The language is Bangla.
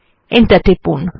এন্টার টিপুন